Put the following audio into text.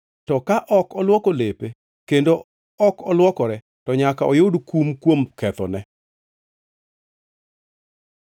To ka ok olwoko lepe kendo ok olwokore, to nyaka oyud kum kuom kethone.’ ”